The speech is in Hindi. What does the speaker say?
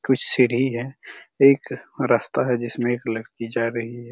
कुछ सीढ़ी है एक रास्ता है जिसमे एक लड़की जा रही हैं।